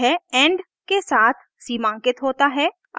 यह end के साथ सीमांकित होता है